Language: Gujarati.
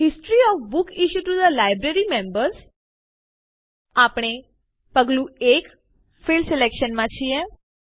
history of books issued to the library members આપણે પગલું ૧ ફિલ્ડ સિલેક્શન માં છીએ